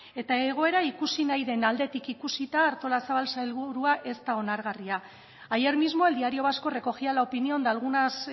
eta egoera ikusi nahi den aldetik ikusita artolazabal sailburua ez da onargarria ayer mismo el diario vasco recogía la opinión de algunas